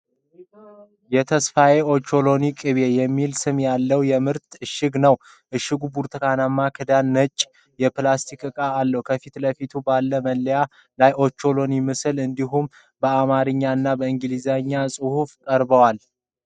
"ተሻዬ ኦቾሎኒ ቅቤ" የሚል ስም ያለው የምርት እሽግ ነው። እሽጉ ብርቱካናማ ክዳንና ነጭ የፕላስቲክ ዕቃ አለው። ከፊት ለፊቱ ባለው መለያ ላይ የኦቾሎኒ ምስል እንዲሁም በአማርኛና በእንግሊዝኛ ጽሑፎች ቀርበዋል።